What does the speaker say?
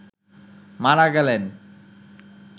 মারা গেলেন